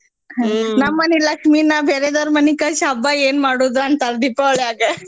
ನಮ್ಮನಿ ಲಕ್ಷ್ಮಿನ ಬೇರೆದೋರ್ ಮನಿಗ್ ಕಳ್ಸಿ ಹಬ್ಬ ಏನ್ ಮಾಡೋದು ಅಂತಾರ್ ದೀಪಾವಳ್ಯಾಗ.